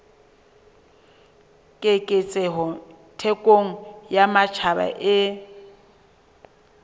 keketseho thekong ya matjhaba e